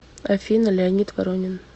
афина леонид воронин